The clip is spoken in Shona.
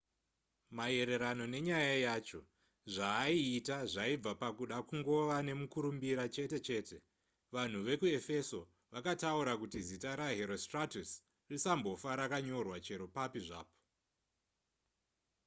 maererano nenyaya yacho zvaaiita zvaibva pakuda kungova nemukurumbira chete chete vanhu vekuefeso vakataura kuti zita raherostratus risambofa rakanyorwa chero pai zvapo